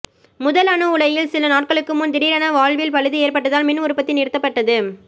முதல் அணு உலையில் சில நாட்களுக்கு முன் திடீரென வால்வில் பழுது ஏற்பட்டதால் மின்உற்பத்தி நிறுத்தப்பட்டது